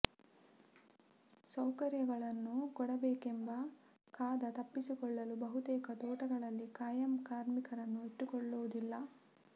ಸೌಕರ್ಯಗಳನ್ನು ಕೊಡಬೇಕೆಂಬ ಕಾ ದ ತಪ್ಪಿಸಿಕೊಳ್ಳಲು ಬಹುತೇಕ ತೋಟಗಳಲ್ಲಿ ಖಾಯಂ ಕಾರ್ಮಿಕರನ್ನು ಇಟ್ಟುಕೊಳ್ಳುವುದಿಲ್ಲ